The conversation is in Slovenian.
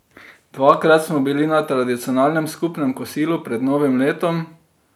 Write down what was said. Dvakrat smo bili na tradicionalnem skupnem kosilu pred novim letom.